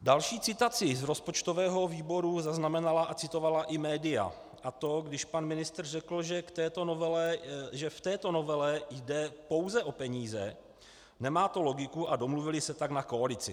Další citaci z rozpočtového výboru zaznamenala a citovala i média, a to když pan ministr řekl, že v této novele jde pouze o peníze, nemá to logiku a domluvili se tak na koalici.